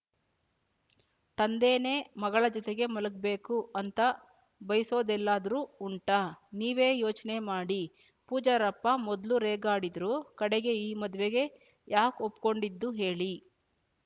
ತಂದೇನೇ ಮಗಳ ಜೊತೆಗೆ ಮಲಗ್ಬೇಕು ಅಂತ ಬಯ್ಸೋದೆಲ್ಲಾದ್ರೂ ಉಂಟಾ ನೀವೇ ಯೋಚ್ನೆ ಮಾಡಿ ಪೂಜಾರಪ್ಪ ಮೊದ್ಲು ರೇಗಾಡಿದ್ರೂ ಕಡೆಗೆ ಈ ಮದ್ವೇಗೆ ಯಾಕ್ ಒಪ್ಕೊಂಡಿದ್ದು ಹೇಳಿ